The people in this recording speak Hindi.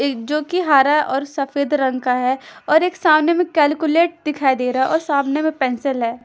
एक जो कि हरा और सफेद रंग का है और एक सामने में कैलकुलेट दिखाई दे रहा है और सामने में पेन्सिल है ।